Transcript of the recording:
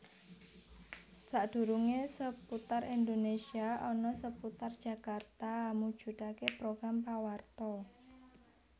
Sadurunge Seputar Indonésia ana Seputar Jakarta mujudake program pawarta